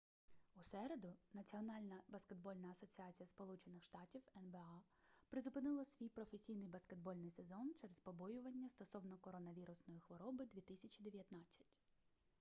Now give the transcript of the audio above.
у середу національна баскетбольна асоціація сполучених штатів нба призупинила свій професійний баскетбольний сезон через побоювання стосовно коронавірусної хвороби 2019